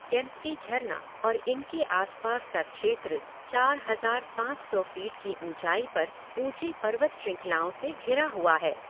केम्प्टी झरना और इनके आसपास का क्षेत्र चार हज़ार पाँच सौ फीट की ऊँचाई पर ऊँची पर्वत श्रृंखलाओं से घिरा हुआ है।